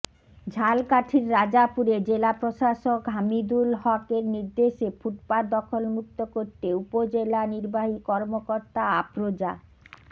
ঝালকাঠির রাজাপুরে জেলা প্রশাসক হামিদুল হক এর নির্দেশে ফুটপাত দখলমুক্ত করতে উপজেলা নির্বাহী কর্মকর্তা আফরোজা